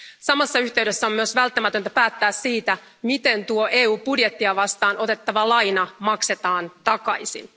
Samassa yhteydessä on myös välttämätöntä päättää siitä, miten tuo EU budjettia vastaan otettava laina maksetaan takaisin.